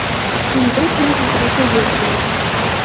Quyida shular haqida so‘z yuritamiz.